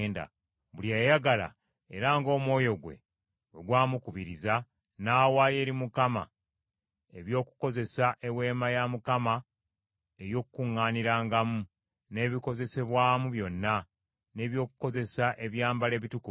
Buli eyayagala, era ng’omwoyo gwe bwe gwamukubiriza, n’awaayo eri Mukama eby’okukozesa Eweema ey’Okukuŋŋaanirangamu n’ebikozesebwamu byonna, n’eby’okukozesa ebyambalo ebitukuvu.